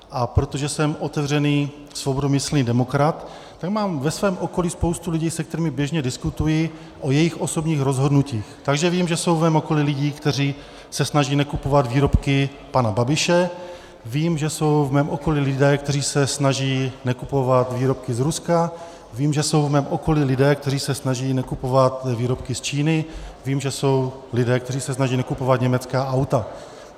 A protože jsem otevřený svobodomyslný demokrat, tak mám ve svém okolí spoustu lidí, se kterými běžně diskutuji o jejich osobních rozhodnutích, takže vím, že jsou v mém okolí lidé, kteří se snaží nekupovat výrobky pana Babiše, vím, že jsou v mém okolí lidé, kteří se snaží nekupovat výrobky z Ruska, vím, že jsou v mém okolí lidé, kteří se snaží nekupovat výrobky z Číny, vím, že jsou lidé, kteří se snaží nekupovat německá auta.